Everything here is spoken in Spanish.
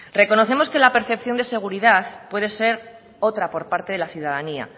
reconocemos que la percepción de seguridad puede ser otra por parte de la ciudadanía